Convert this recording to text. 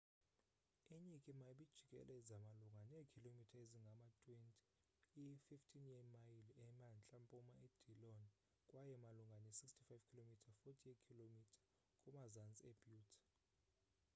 inyikima ibijikeleze malunga neekhilomitha ezingama-20 i-15 yeemayile emantla-mpuma edillon kwaye malunga ne-65 km 40 yeekhilomitha kumazantsi ebutte